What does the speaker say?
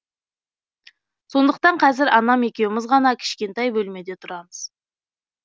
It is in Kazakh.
сондықтан қазір анам екеуміз ғана кішкентай бөлмеде тұрамыз